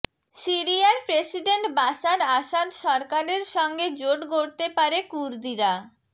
সিরিয়ার president Bashar Assad সরকারের সঙ্গে জোট গড়তে পারে কুর্দিরা